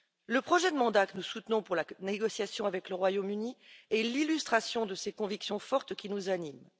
Le projet de mandat que nous soutenons pour la négociation avec le Royaume Uni est l'illustration de ces convictions fortes qui nous animent